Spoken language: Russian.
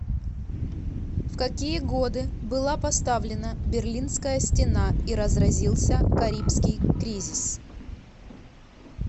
в какие годы была поставлена берлинская стена и разразился карибский кризис